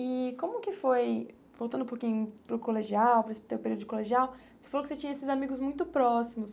E como que foi, voltando um pouquinho para o colegial para esse seu período de colegial, você falou que você tinha esses amigos muito próximos.